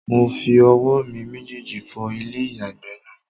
Mo fi owó mi méjèjì fọ ilé-ìyàgbẹ̀ náà